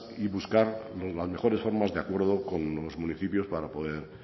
y buscar las mejores formas de acuerdo con los municipios para poder